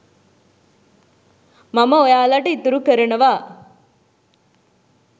මම ඔයාලට ඉතුරු කරනවා.